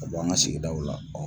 Ka bɔ an ka sigidaw la